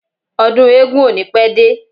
Ọdún eégún ò ní pẹ́ dé.